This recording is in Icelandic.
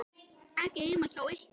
Ekki heima hjá ykkur.